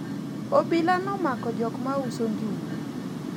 obila nomako jok mauso njugu